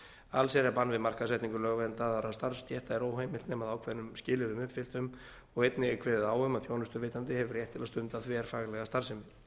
allsherjarbann við markaðssetningu lögverndaðra starfsstétta er óheimilt nema að ákveðnum skilyrðum uppfylltum og einnig er kveðið á um að þjónustuveitandi hefur rétt til að stunda þverfaglega starfsemi